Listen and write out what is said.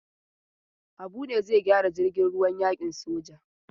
Habu ne zai gyara jirgin ruwan yakin soja.